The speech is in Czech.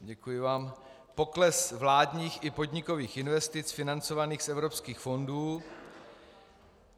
... pokles vládních i podnikových investic financovaných z evropských fondů.